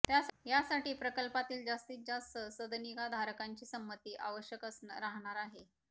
त्यासाठी प्रकल्पातील जास्तीत जास्त सदनिकाधारकांची समंती आवश्यक राहणार आहे